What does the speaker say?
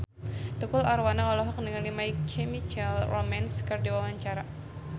Tukul Arwana olohok ningali My Chemical Romance keur diwawancara